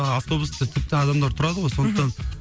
автобуста тіпті адамдар тұрады ғой сондықтан